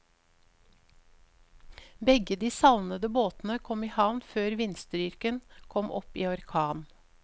Begge de savnede båtene kom i havn før vindstyrken kom opp i orkan.